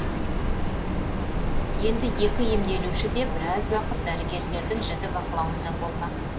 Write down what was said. енді екі емделуші де біраз уақыт дәрігерлердің жіті бақылауында болмақ